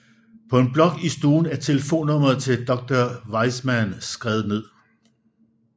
På en blok i stuen er telefonnummeret til Dr Wiseman skrevet ned